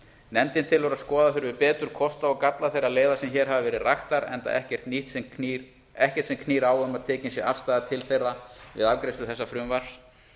nefndin telur að skoða þurfi betur kosti og galla þeirra leiða sem hér hafa verið raktar enda ekkert sem knýr á um að tekin sé afstaða til þeirra við afgreiðslu þessa frumvarps